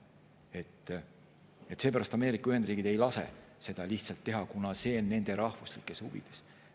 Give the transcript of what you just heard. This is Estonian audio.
Seepärast ei lase Ameerika Ühendriigid sel lihtsalt, kuna nii on nende rahvuslikes huvides.